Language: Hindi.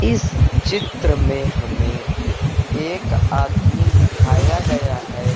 इस चित्र में हमें एक आदमी दिखाया गया है।